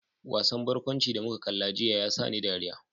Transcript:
Wasan barkwanci da muka kalla jiya ya sa ni dariya.